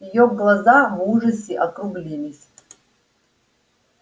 её глаза в ужасе округлились